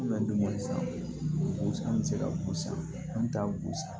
an bɛ se ka gosi an ta gosi